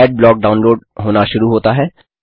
Adblock download होना शुरू होता है